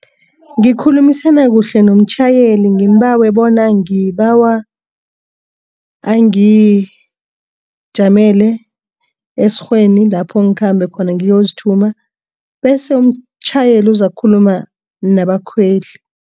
Ngikhulumisana kuhle nomtjhayeli ngeembawe bona ngibawa angijamele esikghweni lapho ngiyozithuma khona bese umtjhayeli uzakukhuluma nabakhweli.